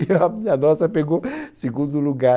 E óbvio a nossa pegou hã segundo lugar.